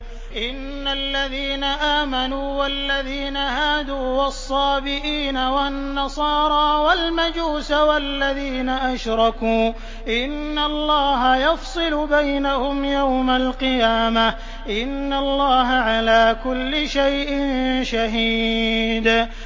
إِنَّ الَّذِينَ آمَنُوا وَالَّذِينَ هَادُوا وَالصَّابِئِينَ وَالنَّصَارَىٰ وَالْمَجُوسَ وَالَّذِينَ أَشْرَكُوا إِنَّ اللَّهَ يَفْصِلُ بَيْنَهُمْ يَوْمَ الْقِيَامَةِ ۚ إِنَّ اللَّهَ عَلَىٰ كُلِّ شَيْءٍ شَهِيدٌ